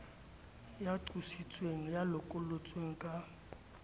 ya qositsweng ya lokollotsweng ka